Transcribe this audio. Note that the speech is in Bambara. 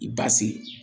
I b'a se